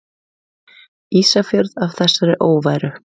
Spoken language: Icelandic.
Ísafjörð af þessari óværu!